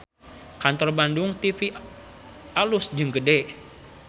Kantor Bandung TV alus jeung gede